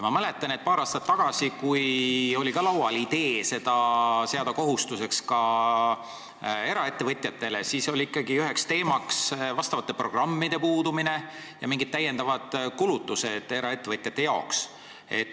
Ma mäletan, et paar aastat tagasi, kui oli laual idee teha see kohustuseks ka eraettevõtjatele, oli ikkagi üheks teemaks vastavate programmide puudumine ja mingid eraettevõtjate lisakulutused.